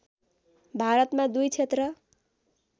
भारतमा दुई क्षेत्र